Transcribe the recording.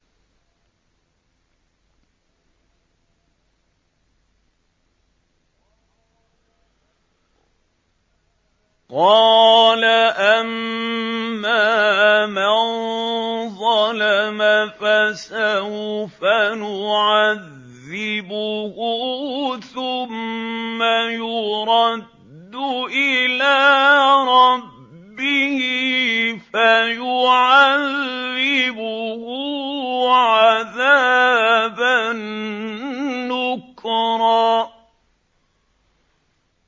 قَالَ أَمَّا مَن ظَلَمَ فَسَوْفَ نُعَذِّبُهُ ثُمَّ يُرَدُّ إِلَىٰ رَبِّهِ فَيُعَذِّبُهُ عَذَابًا نُّكْرًا